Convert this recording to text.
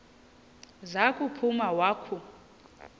za kuphuma wakhu